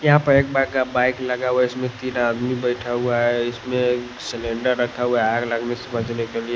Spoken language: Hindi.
यहां पर एक बक बाइक लगा हुआ इसमें तीन आदमी बैठा हुआ है इसमें सिलेंडर रखा हुआ आग लगने से बचने के लिए--